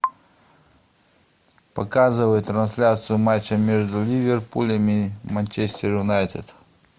показывай трансляцию матча между ливерпулем и манчестер юнайтед